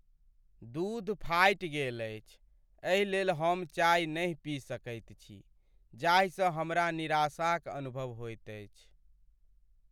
दूध फाटि गेल अछि एहिलेल हम चाय नहि पी सकैत छी जाहिसँ हमरा निराशाक अनुभव होएत अछि।